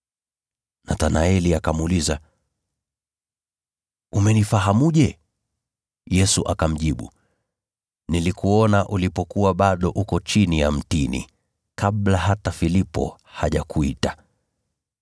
Nathanaeli akamuuliza, “Umenifahamuje?” Yesu akamjibu, “Nilikuona ulipokuwa bado uko chini ya mtini, kabla hata Filipo hajakuita.”